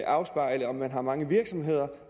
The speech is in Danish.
afspejle om man har mange virksomheder